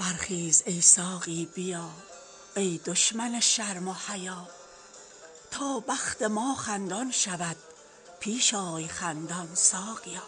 برخیز ای ساقی بیا ای دشمن شرم و حیا تا بخت ما خندان شود پیش آی خندان ساقیا